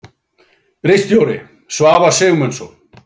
Ritstjóri: Svavar Sigmundsson.